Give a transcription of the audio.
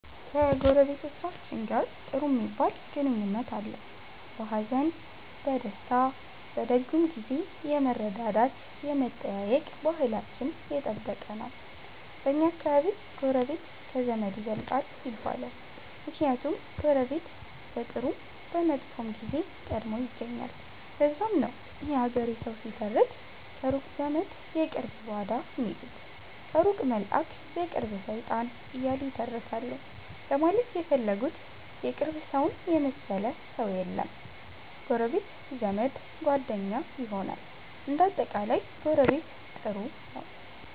ከጎረቤቶቻችን ጋር ጥሩ ሚባል ግንኙነት አለን። በሀዘን፣ በደስታ፣ በደጉም ጊዜ የመረዳዳት የመጠያየቅ ባህላችን የጠበቀ ነው። በኛ አከባቢ ጎረቤት ከዘመድ ይበልጣል ይባላል። ምክንያቱም ጎረቤት በጥሩም በመጥፎም ጊዜ ቀድሞ ይገኛል። ለዛም ነው የሀገሬ ሠዉ ሲተርት ከሩቅ ዘመድ የቅርብ ባዳ ሚሉት ከሩቅ መላእክ የቅርብ ሠይጣን እያሉ ይተረካሉ ለማለት የፈለጉት የቅርብ ሠውን የመሠለ ሠው የለም ነዉ። ጎረቤት ዘመድ፣ ጓደኛ ይሆናል። እንደ አጠቃላይ ጎረቤት ጥሩ ነው።